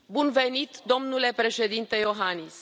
Bun venit, domnule Președinte Iohannis!